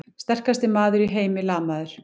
Sterkasti maður í heimi lamaður!